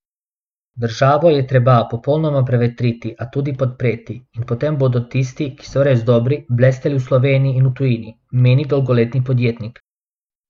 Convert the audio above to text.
Državo je treba popolnoma prevetriti, a tudi podpreti, in potem bodo tisti, ki so res dobri, blesteli v Sloveniji in v tujini, meni dolgoletni podjetnik.